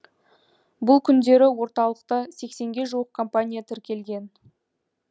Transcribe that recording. бұл күндері орталықта сексенге жуық компания тіркелген